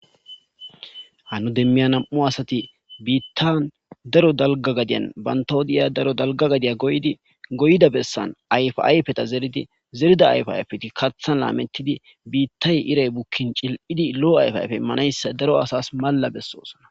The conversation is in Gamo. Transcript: Ha nu demmiya nam7u asati biittan daro dalga gadiyan bantawodiya daro dalga gadiya goydi goyda bessan ayfa ayfeta zeridi zerida ayfa ayfeti kathan laametidi biittay iray bukkin cil7idi lo7o ayfa ayfe immanayssa daro asas malla bessoosana.